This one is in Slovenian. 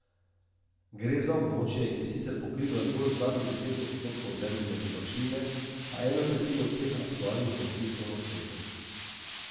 Gre za območje, ki sicer pokriva zgolj slabih deset odstotkov Zemljine površine, a eno tretjino vseh aktualnih konfliktov na svetu.